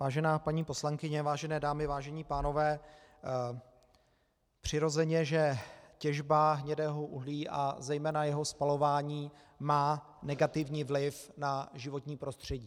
Vážená paní poslankyně, vážené dámy, vážení pánové, přirozeně že těžba hnědého uhlí a zejména jeho spalování má negativní vliv na životní prostředí.